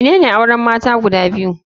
Menene auren mata guda biyu?